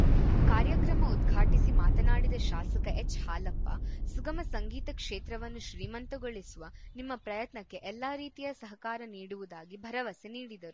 ಕಾರ್ಯಕ್ರಮ ಉದ್ಘಾಟಿಸಿ ಮಾತನಾಡಿದ ಶಾಸಕ ಎಚ್‌ಹಾಲಪ್ಪ ಸುಗಮ ಸಂಗೀತ ಕ್ಷೇತ್ರವನ್ನು ಶ್ರೀಮಂತಗೊಳಿಸುವ ನಿಮ್ಮ ಪ್ರಯತ್ನಕ್ಕೆ ಎಲ್ಲ ರೀತಿಯ ಸಹಕಾರ ನೀಡುವುದಾಗಿ ಭರವಸೆ ನೀಡಿದರು